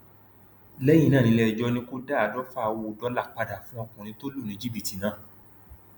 lẹyìn náà nílẹẹjọ ni kò dá àádọfà owó dọlà padà fún ọkùnrin tó lù ní jìbìtì náà